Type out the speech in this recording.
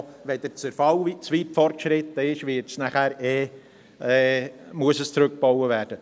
Insbesondere auch, wenn der Zerfall zu weit fortgeschritten ist, muss zurückgebaut werden.